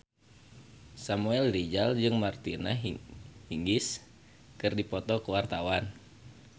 Samuel Rizal jeung Martina Hingis keur dipoto ku wartawan